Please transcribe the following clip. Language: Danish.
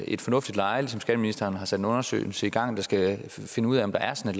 et fornuftigt leje ligesom skatteministeren har sat en undersøgelse i gang der skal finde ud af om der er sådan